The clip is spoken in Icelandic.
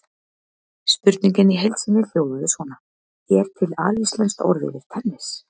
Spurningin í heild sinni hljóðaði svona: Er til alíslenskt orð yfir tennis?